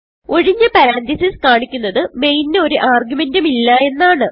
ഒഴിഞ്ഞ പരന്തീസസ് കാണിക്കുന്നത് മെയിൻ ന് ഒരു ആർഗുമെന്റ് ഉം ഇല്ല എന്നാണ്